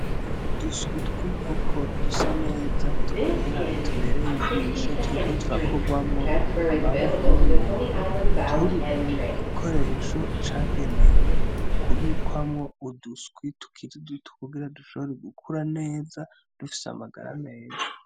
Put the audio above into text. Uduswi tw'inkoko dusa neza twera tubereye ijisho, turiko turakorwamwo amaboko n'umuntu ,turi mu gikoresho ca genewe kubikwamwo uduswi tukiri duto kugira dushobore gukura neza dufise amagara meza.